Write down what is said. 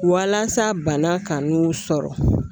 Walasa bana kan n'u sɔrɔ